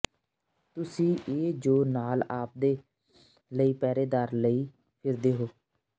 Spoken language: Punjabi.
ਤੁਸੀਂ ਇਹ ਜੋ ਨਾਲ ਆਪਦੇ ਲਈ ਪਹਿਰੇਦਾਰ ਲਈ ਫਿਰਦੇ ਹੋ